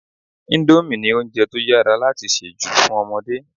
Indomie ni oúnjẹ to yára láti se jù fún ọmọdé